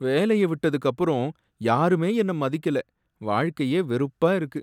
வேலைய விட்டதுக்கு அப்பறம் யாருமே என்ன மதிக்கல, வாழ்க்கையே வெறுப்பா இருக்கு.